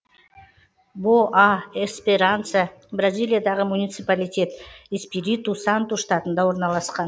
боа эсперанса бразилиядағы муниципалитет эспириту санту штатында орналасқан